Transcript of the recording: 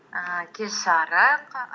ііі кеш жарық